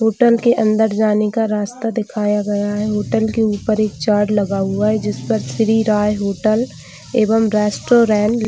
hotel के अंदर जाने का रास्ता दिखाया गया है होटल के ऊपर एक चार्ट लगा हुआ है जिस पर श्री राय होटल एवं रेस्टोरेंट --